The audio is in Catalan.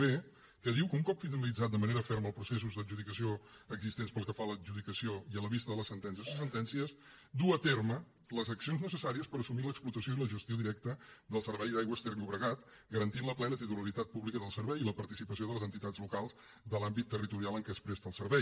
b que diu que un cop finalitzats de manera ferma els processos d’adjudicació existents pel que fa a l’adjudicació i a la vista de la sentència o sentències dur a terme les accions necessàries per assumir l’explotació i la gestió directes del servei d’aigües ter llobregat garantint la plena titularitat pública del servei i la participació de les entitats locals de l’àmbit territorial en què es presta el servei